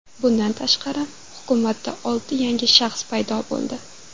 Bundan tashqari, hukumatda olti yangi shaxs paydo bo‘ldi.